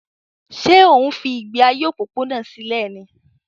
Ṣé ò ń fi ìgbé ayé òpópónà sílẹ̀ ni?